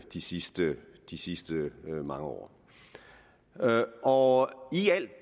de sidste de sidste mange år år